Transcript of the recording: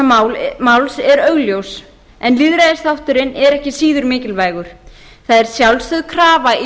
eftir umhverfisverndarþáttur þessa máls er augljós en lýðræðisþátturinn er ekki síður mikilvægur það er sjálfsögð krafa í